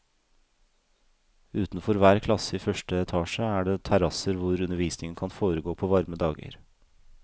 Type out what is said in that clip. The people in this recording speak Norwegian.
Utenfor hver klasse i første etasje er det terrasser hvor undervisningen kan foregå på varme dager.